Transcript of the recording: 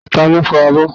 Taló fọ abọ́?